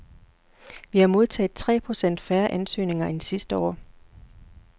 Vi har modtaget tre procent færre ansøgninger end sidste år.